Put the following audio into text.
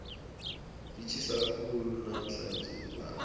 litjhisa khulu namhlanje ilanga